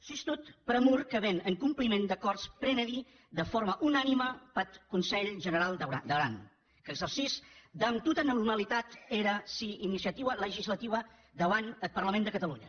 sustot pr’amor que ven en compliment d’acòrds prenudi de forma unanima peth conselh generau d’aran qu’exercís damb tota normalitat era sua iniciatiua legislatiua deuant deth parlament de catalonha